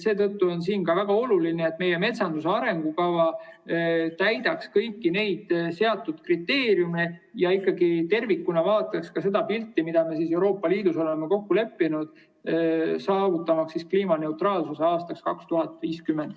Seetõttu on väga oluline, et meie metsanduse arengukava täidaks kõiki seatud kriteeriume ja ikkagi tervikuna vaataks ka seda pilti, mille me Euroopa Liidus oleme kokku leppinud, saavutamaks kliimaneutraalsust aastaks 2050.